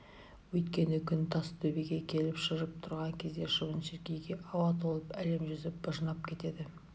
өйткені күн тас төбеге келіп шыжып тұрған кезде шыбын-шіркейге ауа толып әлем жүзі быжынап кетеді